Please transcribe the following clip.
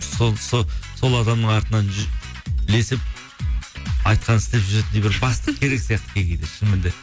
сол адамның артынан ілесіп айтқанын істеп жүретіндей бір бастық керек сияқты кей кейде шынымен де